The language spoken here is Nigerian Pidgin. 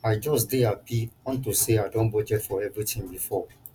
i just dey happy unto say i don budget for everything before